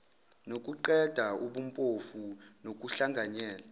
nokuqeda ubumpofu nokuhlanganyela